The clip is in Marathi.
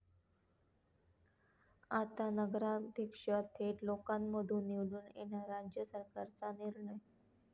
आता नगराध्यक्ष थेट लोकांमधून निवडून येणार, राज्य सरकारचा निर्णय